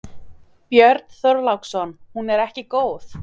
Björn Þorláksson: Hún er ekki góð?